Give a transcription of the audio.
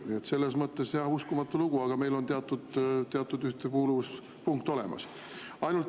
Nii et selles mõttes jah, uskumatu lugu, aga meil on teatud ühtekuuluvuspunkt olemas.